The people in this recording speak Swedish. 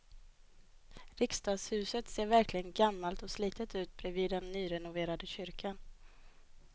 Riksdagshuset ser verkligen gammalt och slitet ut bredvid den nyrenoverade kyrkan.